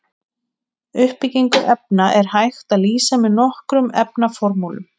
Uppbyggingu efna er hægt að lýsa með nokkrum efnaformúlum.